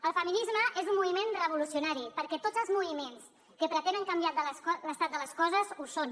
el feminisme és un moviment revolucionari perquè tots els moviments que pretenen canviar l’estat de les coses ho són